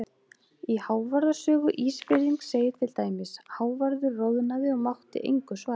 Í Hávarðar sögu Ísfirðings segir til dæmis: Hávarður roðnaði og mátti engu svara.